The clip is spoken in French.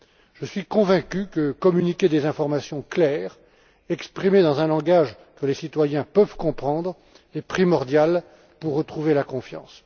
Je suis convaincu que communiquer des informations claires et exprimées dans un langage que les gens peuvent comprendre est primordial pour retrouver la confiance.